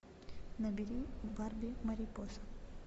набери барби марипоса